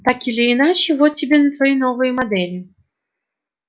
так или иначе вот тебе твои новые модели